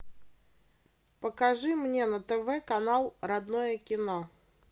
покажи мне на тв канал родное кино